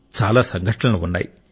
చాలా సంఘటనలు ఉన్నాయి